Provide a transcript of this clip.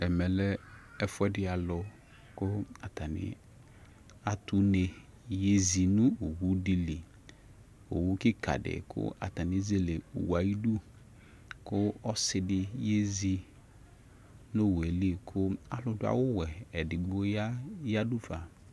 Ɛmɛ lɛ ɛfuɛdi alʋ kʋ atani atʋ une yezi nʋ owʋ di li Owʋ kika di kʋ atani ezele owʋ yɛ ayidʋ kʋ ɔsi di yezi nʋ owʋ yɛ li kʋ alʋ dʋ awʋ wɛ edigbo ya yeyadʋ fa